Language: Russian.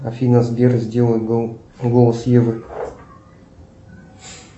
афина сбер сделай голос евы